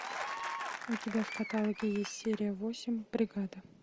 у тебя в каталоге есть серия восемь бригада